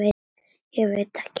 Ég veit ekki?